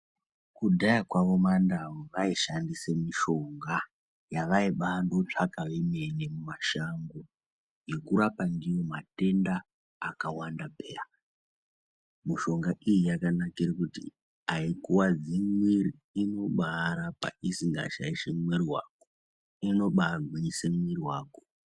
Kudhaya kwawo mandau aishandisa mushonga yavaibatsvaka vemene mumashango yokurapa ndiyo matenda akawanda peya mishonga iyi yakanakira kuti haikuwadzi muiri inovarapa isingashaishi muiri wako inobagwinyisa muiri wako.